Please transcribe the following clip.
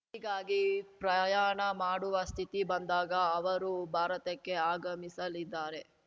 ಹೀಗಾಗಿ ಪ್ರಯಾಣ ಮಾಡುವ ಸ್ಥಿತಿ ಬಂದಾಗ ಅವರು ಭಾರತಕ್ಕೆ ಆಗಮಿಸಲಿದ್ದಾರೆ